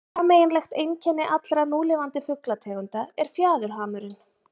Sameiginlegt einkenni allra núlifandi fuglategunda er fjaðurhamurinn.